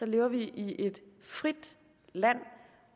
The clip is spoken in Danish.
lever vi i et frit land